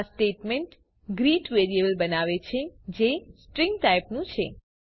આ statement greet variable બનાવે છે જે સ્ટ્રીંગ ટાઇપનું છે